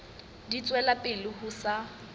di tswela pele ho sa